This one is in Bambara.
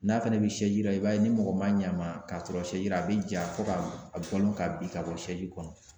N'a fɛnɛ bi sɛzira i b'a ye ni mɔgɔ ma ɲɛ a ma k'a sɔrɔ sɛziri a be ja fɔ k'a galon ka bin ka bɔ sɛzi kɔnɔ